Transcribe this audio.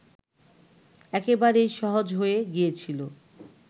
একেবারেই সহজ হয়ে গিয়েছিল